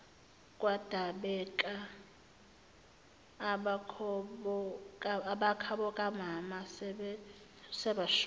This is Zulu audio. kwadabeka abakhabokamama sebashona